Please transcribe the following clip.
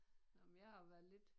Nåh men jeg har været lidt